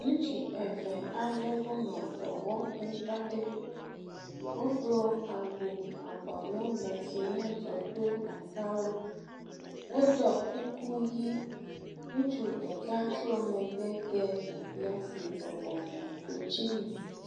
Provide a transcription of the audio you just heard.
Ŋutsu eve aɖewo le dɔwɔƒe aɖe. Wodo awu abɔlegbe si nye dzɔkpleata la, woɖɔ kuku ʋi. Ŋutsu ɖeka trɔ megbe de nɔvia si bɔbɔ nɔ klotsinu.